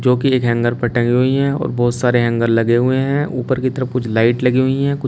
जो कि एक हैंगर पर टंगी हुई हैं और बहुत सारे हैंगर लगे हुए हैं ऊपर की तरफ कुछ लाइट लगी हुई हैं कुछ--